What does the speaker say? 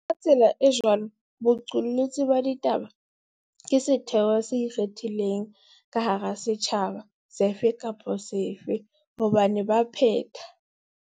Ka tsela e jwalo, boqolotsi ba ditaba ke setheo se ikgethileng ka hara setjhaba sefe kapa sefe hobane ba phetha.